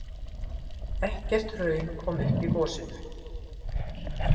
Ekkert hraun kom upp í gosinu.